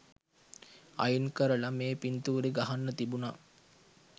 අයින් කරල මේ පින්තූරෙ ගහන්න තිබුන.